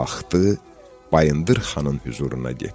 Qalxdı, Bayındır Xanın hüzuruna getdi.